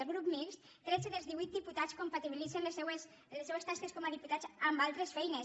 al grup mixt tretze dels divuit diputats compatibilitzen les seues tasques com a diputats amb altres feines